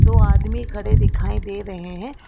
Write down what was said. दो आदमी खड़े दिखाई दे रहे हैं।